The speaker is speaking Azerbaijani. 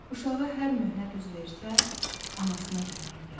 Uşağa hər möhnət üz versə, anasına gümanı gələr.